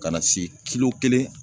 Ka na se kilo kelen.